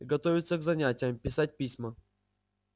готовиться к занятиям писать письма